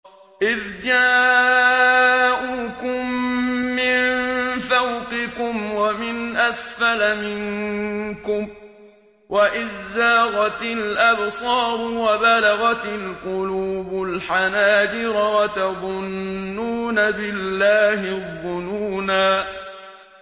إِذْ جَاءُوكُم مِّن فَوْقِكُمْ وَمِنْ أَسْفَلَ مِنكُمْ وَإِذْ زَاغَتِ الْأَبْصَارُ وَبَلَغَتِ الْقُلُوبُ الْحَنَاجِرَ وَتَظُنُّونَ بِاللَّهِ الظُّنُونَا